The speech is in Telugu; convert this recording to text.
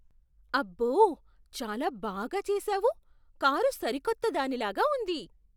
అబ్బో! చాలా బాగా చేసావు. కారు సరికొత్త దానిలాగా ఉంది.